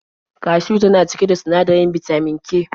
Kashiw yana cike da sinadarin bitamin K.